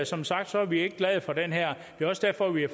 som sagt er vi ikke glade for det her det er også derfor vi har